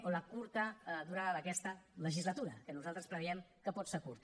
o la curta durada d’aquesta legislatura que nosaltres preveiem que pot ser curta